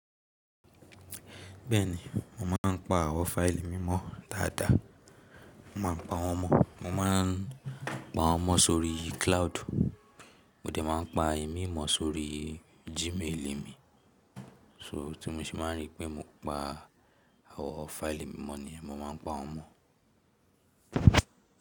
Bẹ́ẹ̀ni, mo máà ń pa àwọ̀ fáìlì mímọ́ dáadáa. Mo máa ń pa wọ́n mọ̀. Mo ma ń pa wọ́n mọ́ sórí cloud. Mo dẹ̀ máa ń pa ìmí mọ sórí Gmail mi. So tí mo ṣe máa n rí pé mo pa àwọn fáìlì mímọ́ nìyẹn, mo ma ń pa wọ́n mọ̀.